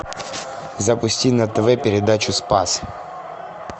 запусти на тв передачу спас